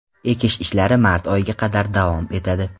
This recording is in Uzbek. Ekish ishlari mart oyiga qadar davom etadi.